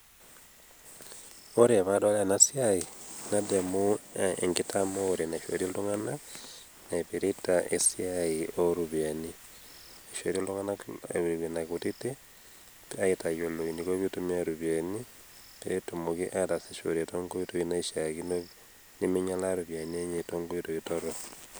ore pee adol ena siai, nadamu enkitamoore naishori iltungana. naipirta esiai ooropiyiani. ishori iltunganak nena kutiti, aitayiolo eniko pee eitumia iropiyiani, pee etumoki aatasishore too nkoitoi naaishaakino. nemeing'ialaa iropiyiani enye too nkoitoi torok.